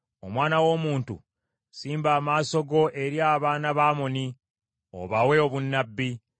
“Omwana w’omuntu, simba amaaso go eri abaana ba Amoni obawe obunnabbi.